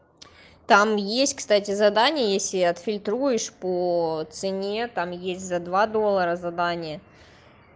там есть кстати задание если отфильтруешь по цене там есть за два доллара задание